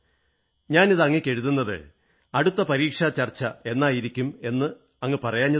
ഞാനിത് അങ്ങയ്ക്ക് എഴുതുന്നത് അടുത്ത പരീക്ഷാ ചർച്ച എന്നായിരിക്കും എന്ന് അങ്ങ് പറയാത്തതുകൊണ്ടാണ്